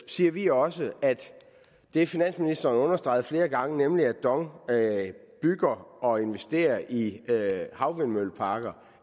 siger vi også at det finansministeren understregede flere gange nemlig at dong bygger og investerer i havvindmølleparker